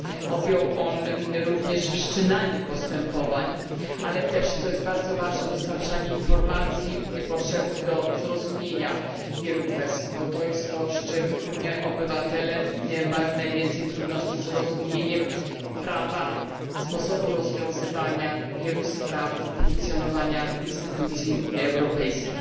Objął on również wszczynanie postępowań, ale też, co bardzo ważne, dostarczanie informacji potrzebnych do zrozumienia wielu kwestii, bo z tym obywatele mają najwięcej trudności z rozumieniem prawa, sposobu rozwiązywania wielu spraw funkcjonowania instytucji europejskich.